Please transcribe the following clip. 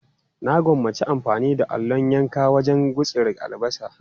Na gwammaci amfani da allon yanka wajen gutsira albasa.